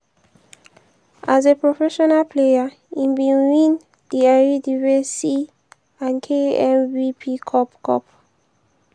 as a professional player im bin win di eredivisie and knvb cup. cup.